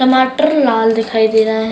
टमाटर लाल दिखाई दे रहा है।